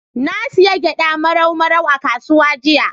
Na sayi gyaɗa Marau Marau a kasuwa jiya.